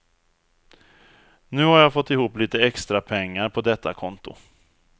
Nu har jag fått ihop lite extra pengar på detta konto.